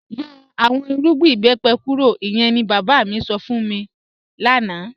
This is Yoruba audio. Yọ̀ awọn ìrùgbìn ìbẹ́pẹ̀ kúrò, ìyẹ̀n ni baba mi sọ́ fún mi lánà